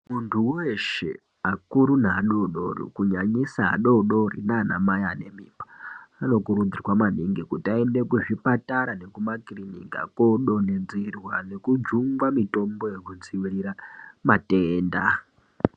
Muntu weshe akuru neadodori kunyanyisa adodori naamai anemimba anokurudzirwa maningi kuti aende kuzvipatara nekumakirinika kodontedzerwa nekujunga mitombo yekudziwirira matenda.